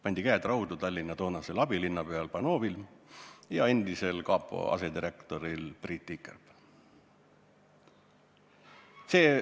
Pandi käed raudu Tallinna toonasel abilinnapeal Panovil ja endisel kapo asedirektoril Priit Tikerpel.